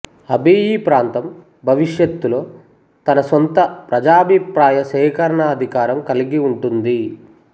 Abyei ప్రాంతం భవిష్యత్తులో తన సొంత ప్రజాభిప్రాయ సేకరణాధికారం కలిగి ఉంటుంది